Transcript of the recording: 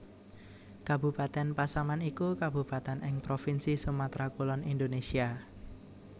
Kabupatèn Pasaman iku kabupatèn ing provinsi Sumatra Kulon Indonésia